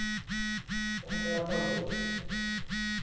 Então, ela casou.